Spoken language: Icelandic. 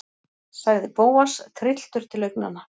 sagði Bóas, trylltur til augnanna.